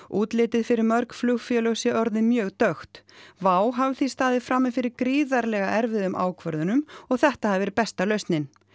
útlitið fyrir mörg flugfélög sé orðið mjög dökkt WOW hafi því staðið frammi fyrir gríðarlega erfiðum ákvörðunum og þetta hafi verið besta lausnin